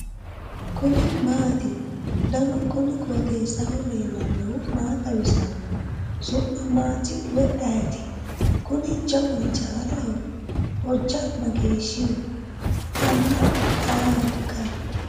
kuni maati ? danu kuni qooxeessaho leellannohu maa xawisanno su'mu maati woy ayeti ? kuni jawu hijaaraho? hojja mageeshshih ? anna ayeehoikka ?